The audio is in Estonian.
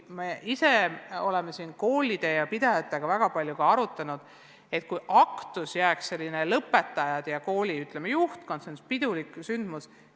Me oleme koolide ja pidajatega väga palju arutanud, et aktus võiks jääda lõpetajate ja kooli juhtkonna pidulikuks sündmuseks.